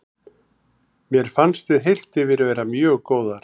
Mér fannst við heilt yfir vera mjög góðar.